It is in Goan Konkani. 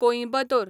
कोयंबतोर